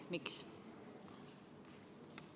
Miks?